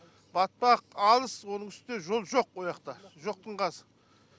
батпақ алыс оның үстіне жол жоқ ояқта жоқтың қасы